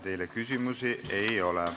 Teile küsimusi ei ole.